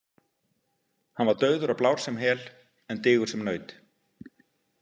Hann var dauður og blár sem hel en digur sem naut.